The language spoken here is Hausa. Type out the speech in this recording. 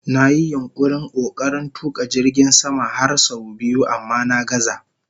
Na yi yunkurin/kokarin tuka jirgin sama har sau biyu amma na gazza